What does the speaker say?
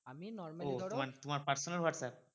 ও তোমার তোমার personal whatsapp?